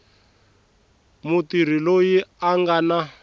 mutirhi loyi a nga na